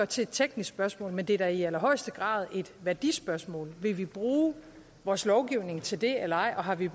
til et teknisk spørgsmål men det er da i allerhøjeste grad et værdispørgsmål vil vi bruge vores lovgivning til det eller ej og har vi